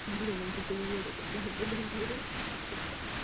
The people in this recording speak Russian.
блин я чуть левее только что не понравилось